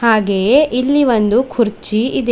ಹಾಗೆಯೇ ಇಲ್ಲಿ ಒಂದು ಕುರ್ಚಿ ಇದೆ.